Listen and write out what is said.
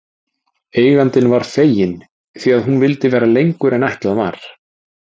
Eigandinn var feginn því að hún vildi vera lengur en ætlað var.